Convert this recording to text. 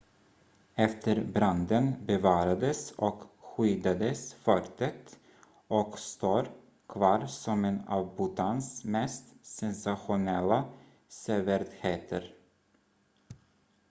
efter branden bevarades och skyddades fortet och står kvar som en av bhutans mest sensationella sevärdheter